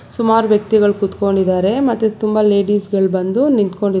ಸುಮಾರ್ ವ್ಯಕ್ತಿಗಳ್ ಕುತ್ಕೊಂಡಿದ್ದಾರೆ ಮತ್ತೆ ತುಂಬಾ ಲೇಡೀಸ್ ಗಳ್ ಬಂದು ನಿಂತ್ಕೊಂಡಿ--